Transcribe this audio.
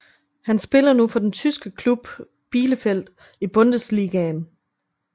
Han spiller nu for den tyske klub Bielefeld i Bundesligaen